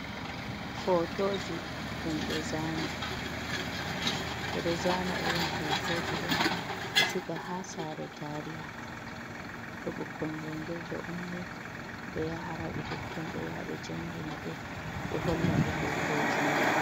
Hotoji ɗum be zaani. Beɗo zaana irim hotojido, be siga ha sare tariha. To ɓukkon jangirde ummi be yahara ɓe totton. Be yabe jangina ɓe. be hollaɓe hotoji man.